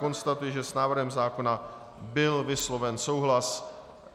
Konstatuji, že s návrhem zákona byl vysloven souhlas.